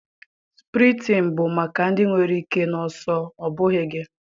sprịntịn bụ maka ndị nwere ike na ọsọ, ọ bụghị gị